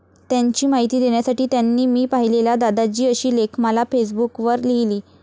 त्यांची माहिती देण्यासाठी त्यांनी मी पाहिलेला दादाजी अशी लेखमाला फेसबुकवर लिहीली.